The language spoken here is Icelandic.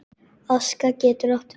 Aska getur átt við